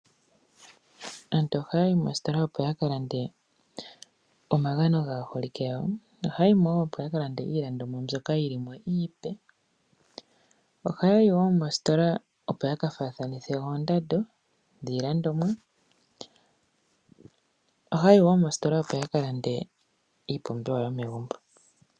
Aantu ohaa yi moositola opo yakalande omagano gaa holike yawo, ohaa yomo woo opo yaka lande iilandomwa mbyoka yili mo iipe, ohayi woo moositola opo yaka faatha nithe oondando yiilandomwa, ohaa yi woo moositola opo yakalande iipumbiwa yomegumbo.